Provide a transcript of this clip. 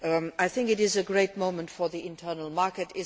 I think it is a great moment for the internal market.